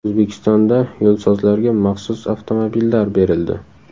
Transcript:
O‘zbekistonda yo‘lsozlarga maxsus avtomobillar berildi.